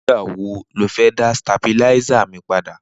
Nigbà wó ló fẹ̀ dà stábiláìsá mi pàdá?